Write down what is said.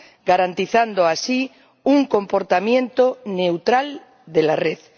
garantizando así un comportamiento neutral de la red.